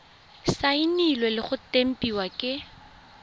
saenilwe le go tempiwa ke